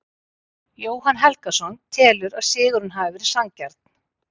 Jóhann Helgason telur að sigurinn hafi verið sanngjarn.